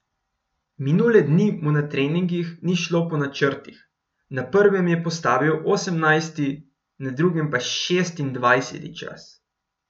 Minule dni mu na treningih ni šlo po načrtih, na prvem je postavil osemnajsti, na drugem pa šestindvajseti čas.